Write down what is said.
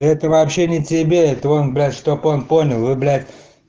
это вообще не тебе это он блять чтоб он понял вы блять